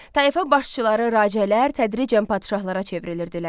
Tayfa başçıları racələr tədricən padşahlara çevrilirdilər.